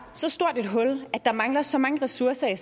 så stort et hul at der mangler så mange ressourcer i